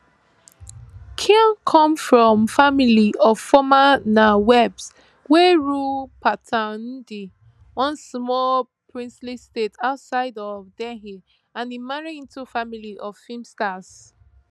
khan come from family of former nawabs wey rule pataudi one small princely state outside of delhi and im marry into family of film stars